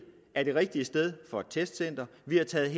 er det rigtige sted for et testcenter vi har taget